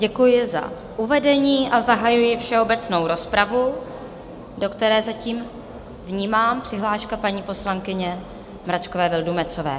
Děkuji za uvedení a zahajuji všeobecnou rozpravu, do které zatím - vnímám - přihláška paní poslankyně Mračkové Vildumetzové.